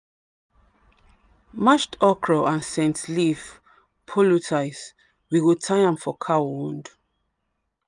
mashed okra and scent leaf poultice we go tie am for cow wound.